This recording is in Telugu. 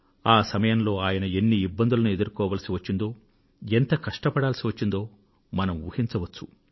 ఆ సమయంలో ఆయన ఎన్ని ఇబ్బందులను ఎదుర్కోవాల్సివచ్చిందో ఎంత కష్టపడాల్సివచ్చిందో మనం ఊహించవచ్చు